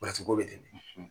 ko bɛ ten